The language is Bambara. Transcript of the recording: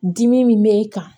Dimi min b'e kan